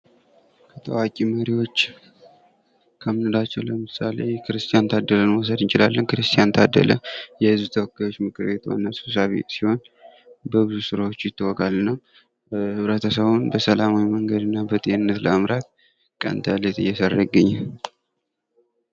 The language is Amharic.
ታዋቂ መሪዎች ከምንላቸው ለምሳሌ ክርስቲያን ታደለን መውሰድ እንችላለን። ክርስቲያን ታደለን የህዝብ ተወካዮች ምክር ቤት ዋና ሰብሳቢ ሲሆን በብዙ ስራዎቹ ይታወቃል እና ኅብረተሰቡን በሰላማዊ መንገድ እና በጤንነት ለመምራት ቀን ተሌት እየሰራ ይገኛል ።